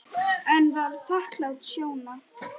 En var þakklát Sjóna.